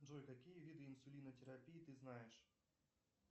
джой какие виды инсулинотерапии ты знаешь